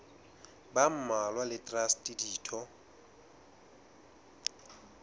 ba mmalwa le traste ditho